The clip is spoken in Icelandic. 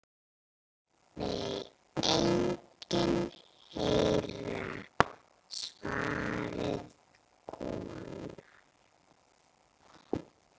Nei enginn herra svaraði konan.